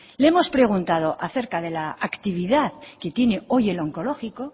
le hemos preguntado acerca de la actividad que tiene hoy el onkologiko